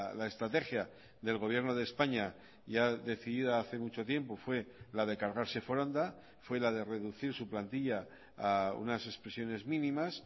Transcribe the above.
la estrategia del gobierno de españa ya decidida hace mucho tiempo fue la de cargarse foronda fue la de reducir su plantilla a unas expresiones mínimas